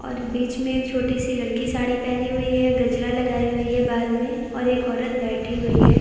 और ये बीच में एक छोटी सी लड़की साड़ी पेहनी हुई है गजरा लगाई हुई है बाल मे और एक औरत बैठी हुई है।